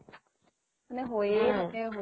মানে হৈ এ থাকে, হৈ এ থাকে